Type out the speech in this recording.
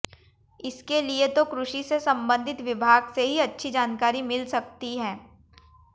इसके लिए तो कृषि से संबंधित विभाग से ही अच्छी जानकारी मिल सकती है